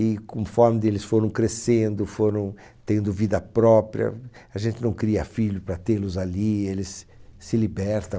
E conforme eles foram crescendo, foram tendo vida própria, a gente não cria filhos para tê-los ali, eles se se libertam.